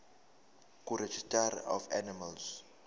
kuregistrar of animals